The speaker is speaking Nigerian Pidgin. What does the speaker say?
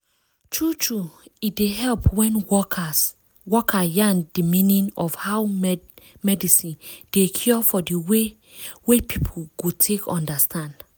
tru tru e dey help wen worker yarn di meaning of how mediine dey cure for di way wey people go take understand.